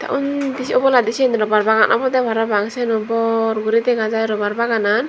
undi se oboladi siyen robar bagan obode parapang siyeno bor guri dega jai robar baganan.